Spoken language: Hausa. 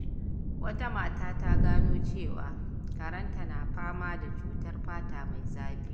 Wata mata ta gano cewa karenta na fama da cutar fata mai zafi.